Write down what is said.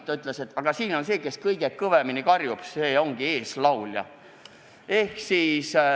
Isa ütles, et aga see, kes kõige kõvemini karjub, ongi eeslaulja.